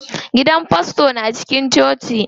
Gidan fasto na cikin coci.